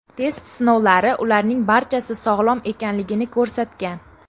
Test sinovlari ularning barchasi sog‘lom ekanligini ko‘rsatgan.